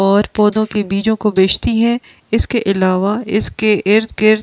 और पौधों के बीजों को भेजती है इसके अलावा इसके इर्द-गिर्द ।